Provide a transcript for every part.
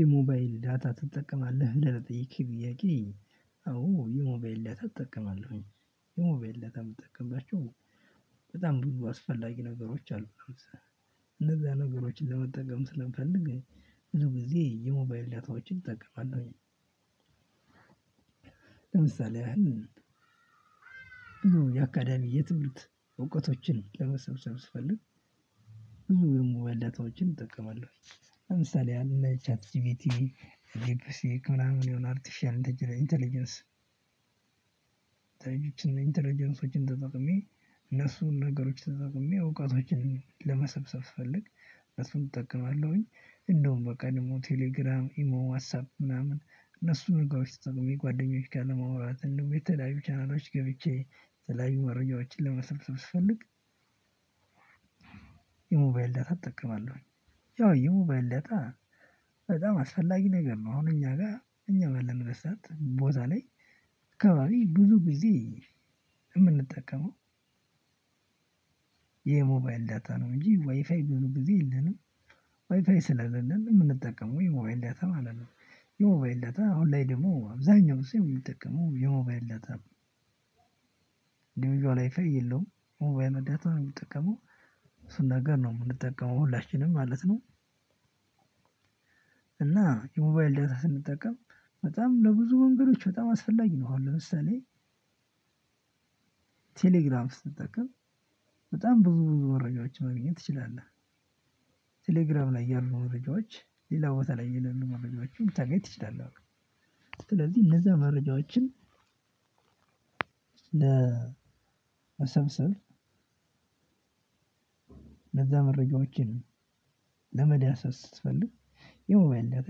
የሞባይል ዳታ ትጠቀማለህ ብለህ ለጠየከኝ ጥያቄ? አዎ የሞባይል ዳታ እጠቀማለሁኝ የሞባይል ዳታ የምጠቀምባቸው በጣም ብዙ አስፈላጊ ነገሮች አሉት። እነዛ ነገሮችን ለመጠቀም ስለምፈልግ ብዙ ጊዜ የሞባይል ዳታዎችን እጠቀማለሁኝ። ለምሳሌ ያህል የአካዳሚ የትምህርት እውቀቶችን ለመሰብሰብ ስፈልግ። ብዙ የሞባይል ዳታዎችን እጠቀማለሁ ለምሳሌ ያህል እነ ቻት ጂፒቲ ዲፕ ሲክ ምናምን የሆነ አርቲፍሻል ኢንተለጀንስ። ኢንተለጀንሶችን ተጠቅሜ እነሱን ነገሮች ተጠቅሜ እውቀቶችን ለመሰብሰብ ስፈልግ እነሱን እጠቀማለሁኝ። እንደውም በቃ ደግሞ ቴሌግራም ኢሞ ዋትስ አፕ ምናምን እነሱን ነገሮች ተጠቅሜ ጓደኞች ጋር ለማውራት እንዲሁም የተለያዩ ቻናሎች ገብቼ የተለያዩ መረጃዎችን ለመሰብሰብ ስፈልግ የሞባይል ዳታ እጠቀማለሁ። ያው የሞባይል ዳታ በጣም አስፈላጊ ነገር ነው። አሁን እኛ ጋር እኛ ባለንበት ሰዓት ቦታ ላይ አካባቢ ብዙ ጊዜ የምንጠቀመው። የሞባይል ዳታ ነው እንጂ ዋይፋይ ብዙ ጊዜ የለንም። ዋይፋይ ስለሌለን የምንጠቀመው የሞባይል ዳታ ማለት ነው። የሞባይል ዳታ አሁን ላይ ደግሞ አብዛኛው ሰው የሚጠቀመው የሞባይል ዳታ ነው። እንዲቪዟል ዋይፋይ የለውም የሞባይል ዳታ ነው የሚጠቀመው እሱን ነገር ነው የምንጠቀመው ሁላችንም ማለት ነው። እና የሞባይል ዳታ ስንጠቀም በጣም ለብዙ መንገዶች በጣም አስፈላጊ ነው። አሁን ለምሳሌ ቴሌግራም ስትጠቀም በጣም ብዙ መረጃዎችን ማግኘት ትችላለህ። ቴሌግራም ላይ ያሉ መረጃዎች ሌላ ቦታ ላይ የሌሉ መረጃዎችን ልታገኝ ትችላለህ። ስለዚህ እነዚያ መረጃዎችን ለመሰብሰብ ለዛ መረጃዎችን ለመዳሰስ ስትፈልግ የሞባይል ዳታ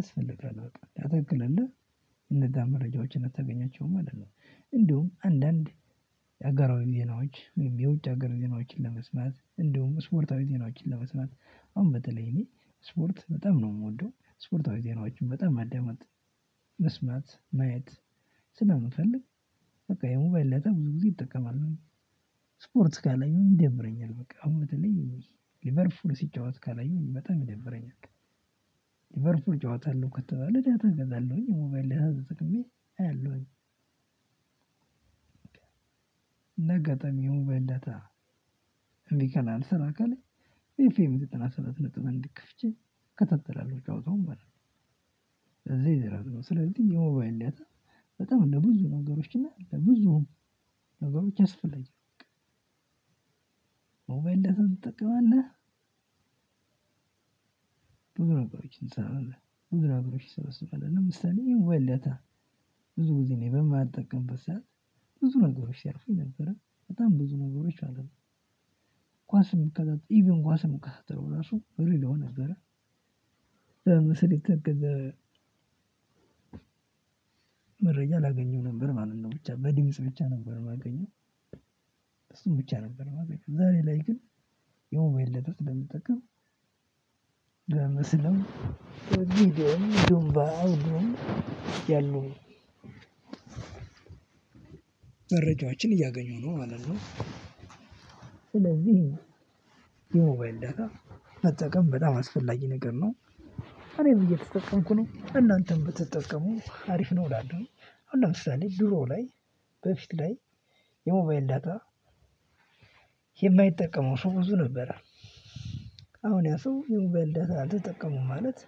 ያስፈልጋል። በቃ ዳታ ከለለህ እነዛ መረጃዎችን አታገኛቸውም ማለት ነው። እንዲሁም አንዳንድ የሀገራዊ ዜናዎች የውጭ ሀገር ዜናዎችን ለመስማት እንዲሁም ስፖርታዊ ዜናዎችን ለመስማት አሁን በተለይ እኔ ስፖርት በጣም ነው የምወደው ስፖርታዊ ዜናዎችን በጣም ማዳመጥ መስማት ማየት ስለምፈልግ በቃ የሞባይል ዳታ ብዙ ጊዜ እጠቀማለሁ። ስፖርት ካላየሁኝ ይደብረኛል በቃ አሁን በተለይ ሊቨርፑል ሲጫወት ካላየሁ በጣም ይደብረኛል። ሊቨርፑል ጨዋታ አለው ከተባለ ዳታ እገዛለሁኝ የሞባይል ዳታ ተጠቅሜ አያለሁኝ። እንዳጋጣሚ የሞባይል ዳታ እንቢ ካለ አልሰራ ካለ ኤፍ ኤም ዘጠና ሰባት ነጥብ አንድ ከፍቼ እከታተላለሁ ጫወታውን ማለት። ነው ስለዚህ የሞባይል ዳታ በጣም ለብዙ ነገሮች እና ለብዙ ነገሮች አስፈላጊ ነው በቃ። የሞባይል ዳታ ትጠቀማለህ? ብዙ ነገሮች እንሰራለን ብዙ ነገሮች እንሰበስባለን ለምሳሌ የሞባይል ዳታ ብዙ ጊዜ እኔ በማልጠቀምበት ሰዓት ብዙ ነገሮች ሲያልፉኝ ነበረ በጣም ብዙ ነገሮች ማለት ነው። ኳስም የምከታተለው ኢቭን ኳስ ከዛ የምከታተለው ራሱ በሬዲዮ ነበረ። ለምሳሌ መረጃ ላገኘው ነበር። ማለት ነው ብቻ በድምጽ ብቻ ነበር የማገኘው እሱን ብቻ ነበር የማገኘው። ዛሬ ላይ ግን የሞባይል ዳታ ስለምጠቀም ለምስልም ለቪዲዮም እያገኘው ነው ማለት ነው። ስለዚህ የሞባይል ዳታ መጠቀም በጣም አስፈላጊ ነገር ነው። እኔም እየተጠቀምኩ ነው እናንተም ብትጠቀሙ አሪፍ ነው እላለሁኝ። አሁን ለምሳሌ ድሮ ላይ በፊት ላይ የሞባይል ዳታ የማይጠቀመው ሰው ብዙ ነበረ። አሁን ያ ሰው የሞባይል ዳታ አልተጠቀሙም ማለት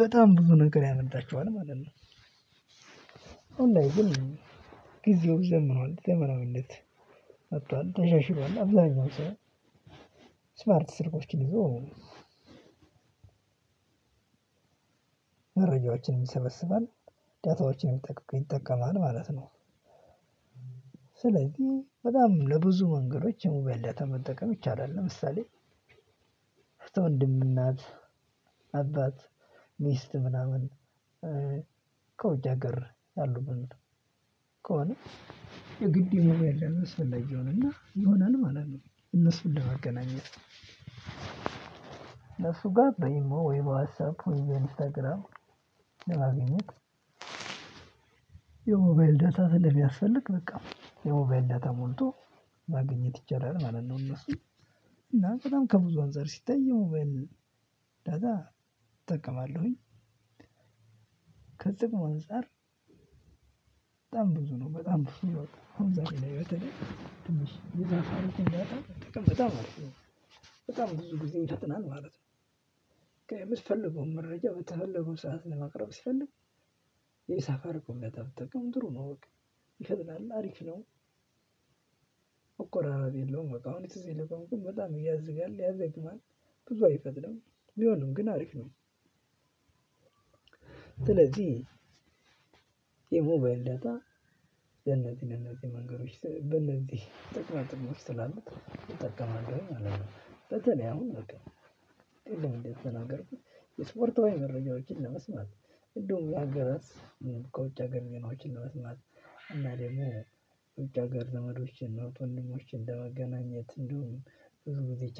በጣም ብዙ ነገር ያመልጣችኋል ማለት ነው። ኦንላይን ጊዜው ዘምኗል ዘመናዊነት መጥቷል ተሻሽሏል አብዛኛው ሰው ስማርት ስልኮችን ይዞ መረጃዎችን ይሰበስባል። ዳታዎችን ይጠቀማል ማለት ነው። ስለዚህ በጣም ለብዙ መንገዶች የሞባይል ዳታ መጠቀም ይቻላል። ለምሳሌ ወንድም እና እህት አባት ሚስት ምናምን ከውጭ ሀገር ያሉ ግን ከሆነ የግድ የሞባይል ዳታ አስፈላጊ ይሆንና ይሆናል ማለት ነው። እነሱን ለመገናኘት እሱ ጋር በኢሞ ወይ በዋትስ አፕ ወይም በኢንስታግራም ለማግኘት የሞባይል ዳታ ስለሚያስፈልግ በቃ የሞባይል ዳታ ሞልቶ ማግኘት ይቻላል። ማለት ነው እነሱን እና በጣም ከብዙ አንፃር ሲታይ የሞባይል ዳታ እጠቀማለሁኝ ከጥቅም አንፃር በጣም በጣም አሪፍ ነው። በጣም ብዙ ጊዜ ይፈጥናል ማለት ነው። የምትፈልገውን መረጃ በተፈለገው ሰዓት ለማቅረብ ሲፈልግ ሳፋሪኮም ብትጠቀም ጥሩ ነው በቃ ይፈጥናል አሪፍ ነው። ረብ የለውም በቃ አሁን ትዝ ይልህ ከሆነ በጣም ያዝጋል ያዘግማል ብዙ አይፈጥንም። ቢሆንም ግን አሪፍ ነው። ስለዚህ የሞባይል ዳታ ለነዚህ ለነዚህ መንገዶች ስል እነዚህ ጥቅማ ጥቅሞች ስላሉት እጠቀማለሁ ማለት ነው። አሁን በቃ ቅድም እንደ ተናገርኩት የስፖርታዊ መረጃዎችን ለመስማት እንዲሁም በሀገራት ከውጭ ሀገር ዜናዎችን ለመስማት እና ደግሞ ውጭ ሀገር ዘመዶችን እህት ወንድሞችን ለመገናኘት ብዙ ጊዜ